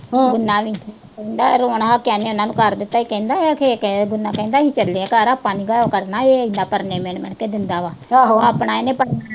ਕਹਿੰਦਾ ਰੋਣ ਹੱਕਾ ਇਹਨੇ ਉਨ੍ਹਾਂ ਨੂੰ ਕਰ ਦਿੱਤੀ ਸੀ। ਕਹਿੰਦਾ ਅਖੇ ਕਹਿ ਦਿੰਨਾ, ਕਹਿੰਦਾ ਅਸੀਂ ਚੱਲੇ ਆਂ ਘਰ, ਆਪਾਂ ਨੇ ਉਧਾਰ ਕਰਨਾ ਏ, ਐਦਾਂ ਪਰਨੇ ਮਿਣ-ਮਿਣ ਕੇ ਦਿੰਦਾ ਵਾ ਆਪਣਾ ਇਹਨੇ ਪਰਨਾ